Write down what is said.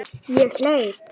Ég hleyp.